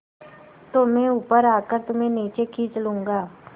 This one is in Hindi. तो मैं ऊपर आकर तुम्हें नीचे खींच लूँगा